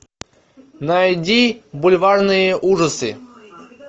найди бульварные ужасы